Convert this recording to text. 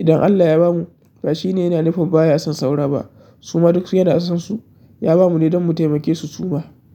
Idan Allah ya bamu, ba shi ne yana nufin baya son saura ba suma duk su yana son su, ya bamu ne don mu taimake su suma.